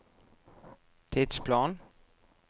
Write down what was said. tidsplan